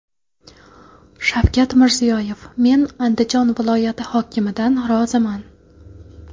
Shavkat Mirziyoyev: Men Andijon viloyati hokimidan roziman.